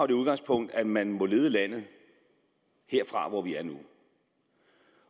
det udgangspunkt at man må lede landet herfra hvor vi er nu